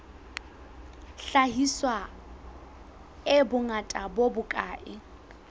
hlahiswa e bongata bo bokae